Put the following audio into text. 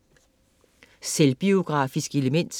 Selvbiografisk element